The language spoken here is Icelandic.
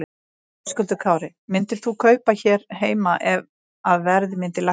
Höskuldur Kári: Myndir þú kaupa hér heima ef að verð myndi lækka?